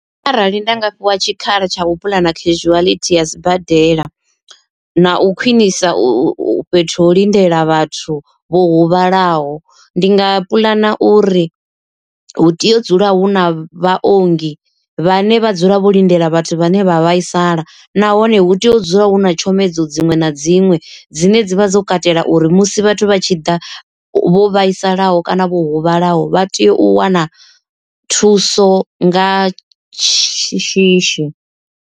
Arali nda nga fhiwa tshikhala tsha u puḽana casualty ya sibadela na u khwinisa u fhethu ha u lindela vhathu vho huvhalaho, ndi nga puḽana uri hu tea u dzula hu na vhaongi vhane vha dzula vho lindela vhathu vhane vha vhaisala, nahone hu tea u dzula hu na tshomedzo dziṅwe na dziṅwe dzine dzi vha dzo katela uri musi vhathu vha tshi ḓa vho vhaisalaho kana vho huvhalaho vha tea u wana thuso nga shishi.